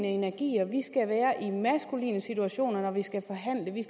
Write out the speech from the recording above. energier vi skal være i maskuline situationer når vi skal forhandle vi